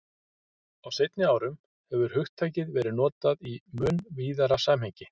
Á seinni árum hefur hugtakið verið notað í mun víðara samhengi.